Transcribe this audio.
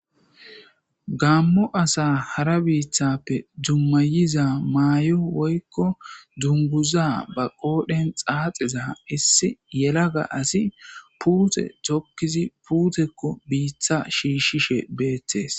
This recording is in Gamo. Gammo asa hara biithappe dummayiza maayo woykko dunguza ba qoodhen xaaxeza issi yela ga asi puute tokkizi puutekko biitha shiishshishe beetees.